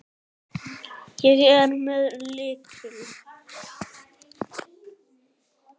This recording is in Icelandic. Ég er með lykil.